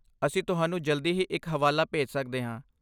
ਅਸੀਂ ਤੁਹਾਨੂੰ ਜਲਦੀ ਹੀ ਇੱਕ ਹਵਾਲਾ ਭੇਜ ਸਕਦੇ ਹਾਂ।